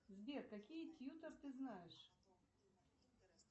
сбер какие тьютор ты знаешь